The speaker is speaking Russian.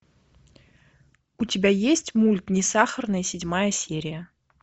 у тебя есть мульт не сахарная седьмая серия